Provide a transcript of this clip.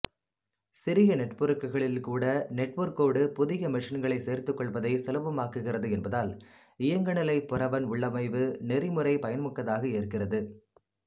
சிறிய நெட்வொர்க்குகளில்கூட நெட்வொர்க்கோடு புதிய மெஷின்களை சேர்த்துக்கொள்வதை சுலபமாக்குகிறது என்பதால் இயங்குநிலை புரவன் உள்ளமைவு நெறிமுறை பயன்மிக்கதாக இருக்கிறது